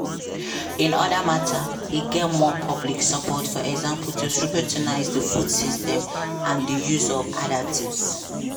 on oda matters e get more public support for example to scrutinise di food system and di use of additives.